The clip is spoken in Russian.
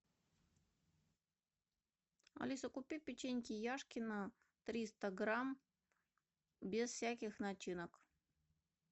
алиса купи печеньки яшкино триста грамм без всяких начинок